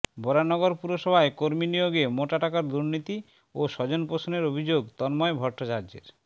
বরানগর পুরসভায় কর্মীনিয়োগে মোটা টাকার দুর্নীতি ও স্বজনপোষণের অভিযোগ তন্ময় ভট্টাচার্যের